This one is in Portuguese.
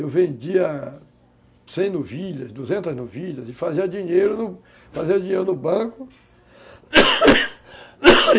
Eu vendia cem novilhas, duzentas novilhas, e fazia dinheiro no Banco